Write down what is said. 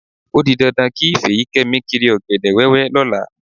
Ó di dandan kí Fèyíkẹ́mi kiri ọ̀gẹ̀dẹ̀ wẹ́wẹ́ lọ́la.